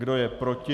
Kdo je proti?